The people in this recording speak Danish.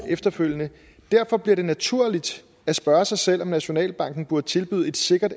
efterfølgende derfor bliver det naturligt at spørge sig selv om nationalbanken burde tilbyde et sikkert